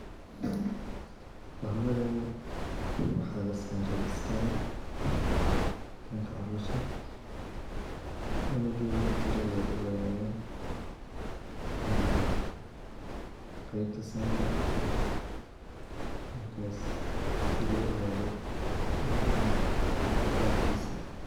Mamadhani waxa lasaray scann iskanka calosha cunageda kujura aya laoganaya, qeybta skanka, markas si lo ogadho cunigani qabkisa.